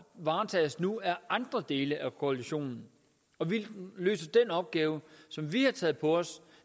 varetages nu af andre dele af koalitionen og vi løser den opgave som vi har taget på os